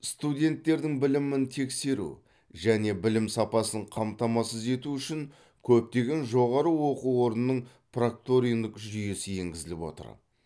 студенттердің білімін тексеру және білім сапасын қамтамасыз ету үшін көптеген жоғары оқу орнына прокторинг жүйесі енгізіліп отыр